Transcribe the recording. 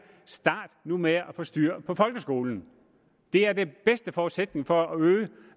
start nu med at få styr på folkeskolen det er den bedste forudsætning for at øge